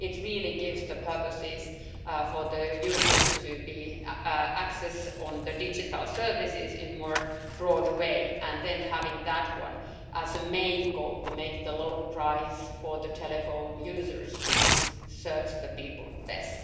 It really gives the purposes for the users to have access to digital services in a more broad way and then having that one as the main goal to make the low price for the telephone users it serves the people best.